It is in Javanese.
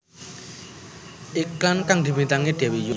Iklan kang dibintangi Dewi Yull